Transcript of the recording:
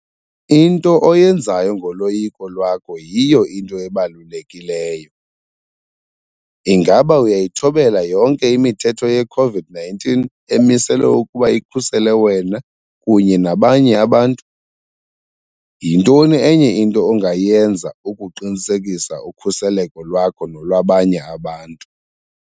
Into oyenzayo ngoloyiko lwakho yiyo into ebalulekileyo. Ingaba uyayithobela yonke imithetho ye-COVID-19 emiselwe ukuba ikhusele wena kunye nabanye abantu? Yintoni enye into ongayenza ukuqinisekisa ukhuseleko lwakho nolwabanye abantu?